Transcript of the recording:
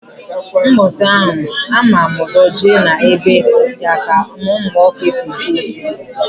Mbọsi anwa a mam ụzọ je na be ya ka m muo k'esi ete ofe.